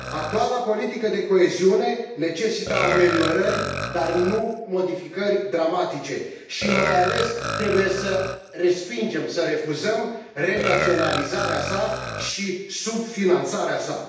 Actuala politică de coeziune necesită ameliorări, dar nu modificări dramatice și, mai ales, trebuie să respingem, să refuzăm renaționalizarea sa și subfinanțarea sa.